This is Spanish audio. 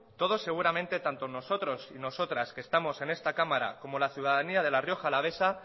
todos seguramente tanto nosotros y nosotras que estamos en esta cámara como la ciudadanía de la rioja alavesa